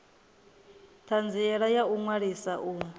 thanziela ya u ṅwalisa u